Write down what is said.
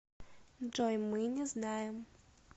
джой мы не знаем